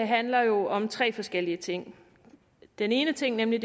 handler jo om tre forskellige ting den ene ting nemlig